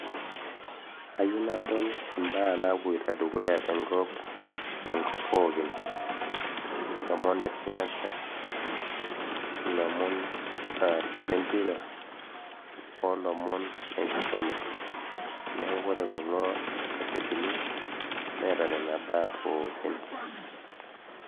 Ayieu nadol imbaa napoito dukuya tenkop pookin lomon le siasa, lomon lempira, olomon lenkisuma neaku wore kulongasetini netaa nena baa pookin